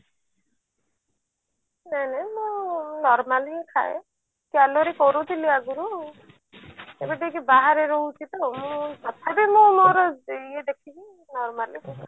ନାଇଁ ନାଇଁ ମୁଁ normally ଖାଏ calorie କରୁଥିଲି ଆଗୁରୁ ଏବେ ଟିକେ ବାହାରେ ରହୁଛି ତ ମୁଁ ତଥାପି ମୁଁ ମୋର ଇଏ ଦେଖିକି normally